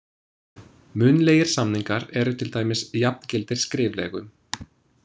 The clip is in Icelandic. Munnlegir samningar eru til dæmis jafngildir skriflegum.